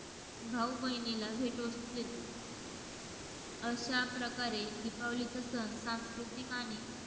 भाऊ बहिणीला भेटवस्तू देतो. अश्या प्रकारे दिपावलीचा सण सांस्कृतिक आणि